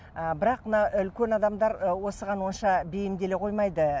ы бірақ мына үлкен адамдар ы осыған онша бейімделе қоймайды